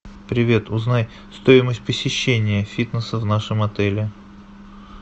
привет узнай стоимость посещения фитнеса в нашем отеле